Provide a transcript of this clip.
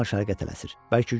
Hamısı şimal-şərqə tələsir.